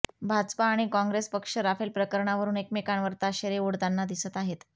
भाजपा आणि काँग्रेस पक्ष राफेल प्रकरणावरुन एकमेकांवर ताशेरे ओढताना दिसत आहेत